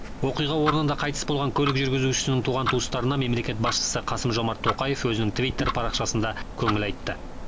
оқиға орнында қайтыс болған көлік жүргізушісінің туған туыстарына мемлекет басшысы қасым жомарт тоқаев өзінің твиттер парақшасында көңіл айтты